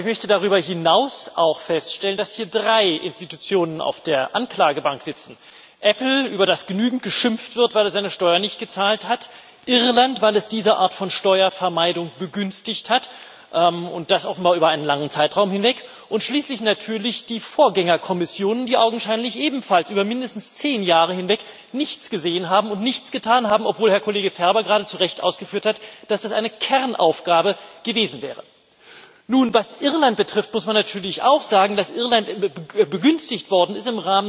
Aber ich möchte darüber hinaus auch feststellen, dass hier drei Institutionen auf der Anklagebank sitzen Apple, über das genügend geschimpft wird, weil es seine Steuern nicht gezahlt hat, Irland, weil es diese Art von Steuervermeidung begünstigt hat, und das offenbar über einen langen Zeitraum hinweg, und schließlich natürlich die Vorgängerkommissionen, die augenscheinlich ebenfalls über mindestens zehn Jahre hinweg nichts gesehen haben und nichts getan haben, obwohl Herr Kollege Ferber gerade zu Recht ausgeführt hat, dass das eine Kernaufgabe gewesen wäre. Nun, was Irland betrifft, muss man natürlich auch sagen, dass Irland im Rahmen der Eurorettung begünstigt worden ist